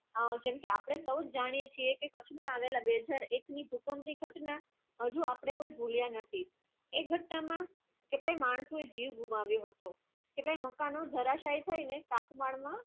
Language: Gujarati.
અને જેને પણ અપને સરસ જાણીયે છે સચ માં અયેલા ગ્રેષર એક નું ભૂકંપ આજુ આપણે થી જુલિયા ના એક વક્ત ના શકે માસ ને જીવો વધારે હતો તને મોટા નું ઘરશાઈ ને સાથ મનુ